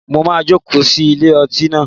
Mo máa joko sí ilé ọtí naa